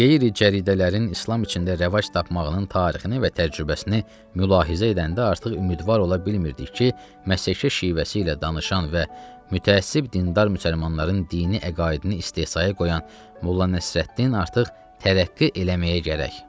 Qeyri-cəridələrin İslam içində rəvac tapmağının tarixini və təcrübəsini mülahizə edəndə artıq ümidvar ola bilmirdik ki, Məsəki şivəsi ilə danışan və mütəəssib dindar müsəlmanların dini əqaidini istehzaya qoyan Molla Nəsrəddin artıq tərəqqi eləməyə gərək.